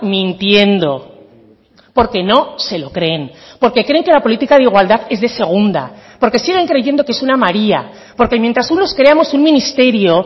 mintiendo porque no se lo creen porque creen que la política de igualdad es de segunda porque siguen creyendo que es una maría porque mientras unos creamos un ministerio